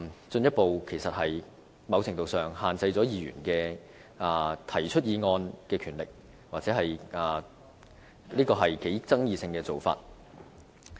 在某程度上，這是進一步限制議員提出議案的權力，也是頗具爭議性的做法。